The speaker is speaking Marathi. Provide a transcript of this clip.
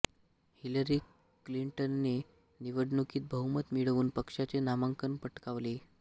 हिलरी क्लिंटनने निवडणुकीत बहुमत मिळवून पक्षाचे नामांकन पटकावले